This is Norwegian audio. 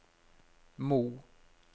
Mo